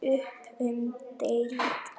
Upp um deild